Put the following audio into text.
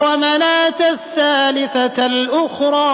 وَمَنَاةَ الثَّالِثَةَ الْأُخْرَىٰ